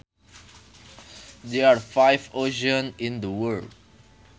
There are five oceans in the world